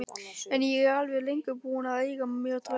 En ég var lengi búin að eiga mér draum.